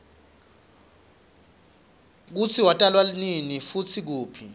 kutsi watalwanini futsi kuphi